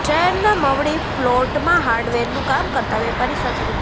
શહરેના મવડી પ્લોટમાં હાર્ડવેરનું કામ કરતા વેપારી સાથે રૂા